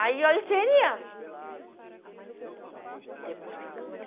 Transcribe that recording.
Aí, olha, esperneando. depois tem